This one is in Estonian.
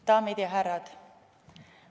Daamid ja härrad!